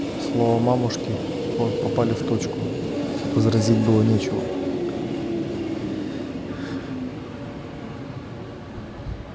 слова мамушки попали в точку возразить было нечего